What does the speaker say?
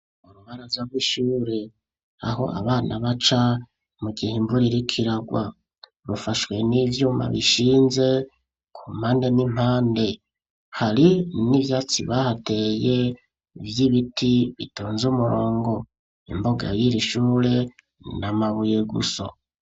Urubaraza rw'ishure aho abana baca mu gihe imvura iriko iragwa bufashwe n'ivyuma bishinze ku mpande n'impande hari n'ivyatsi bahateye ibiti bitonze umurongo imbuga y'iri shure n'amabuye gusa.